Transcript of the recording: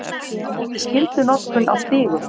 Á móti skyldunotkun á stígum